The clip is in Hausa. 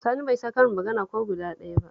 Sani bai san karin magana ko guda ɗaya ba